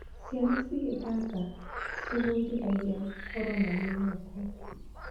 Ciana cigĩthaka, ciĩbundithagia gũkorwo na mwĩhoko.